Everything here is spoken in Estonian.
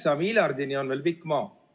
Üheksa miljardini on veel pikk maa.